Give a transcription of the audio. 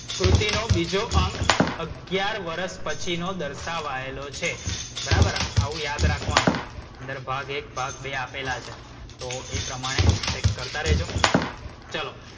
કૃતિનો બીજો અંક અગિયાર વર્ષ પછીનો દર્શાવાયલો છે. બરાબર આવું યાદ રાખવાનું. અંદર ભાગ એક ભાગ બે આપેલા છે તો એ પ્રમાણે ચેક કરતાં રેજો. ચલો